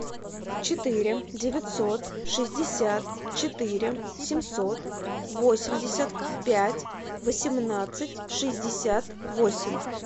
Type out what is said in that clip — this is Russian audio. четыре девятьсот шестьдесят четыре семьсот восемьдесят пять восемнадцать шестьдесят восемь